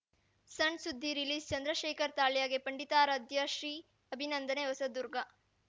ಸಣ್‌ಸುದ್ದಿ ರಿಲೀಸ್‌ಚಂದ್ರಶೇಖರ್‌ ತಾಳ್ಯಗೆ ಪಂಡಿತಾರಾಧ್ಯ ಶ್ರೀ ಅಭಿನಂದನೆ ಹೊಸದುರ್ಗ